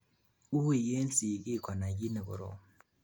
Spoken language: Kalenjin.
wuui en sigiik konai kiit nekorom